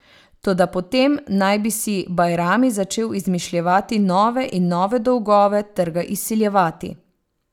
Toda potem naj bi si Bajrami začel izmišljevati nove in nove dolgove ter ga izsiljevati.